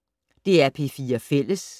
DR P4 Fælles